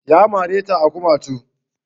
Ya mare ta a kumatu